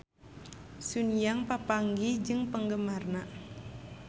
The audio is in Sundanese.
Sun Yang papanggih jeung penggemarna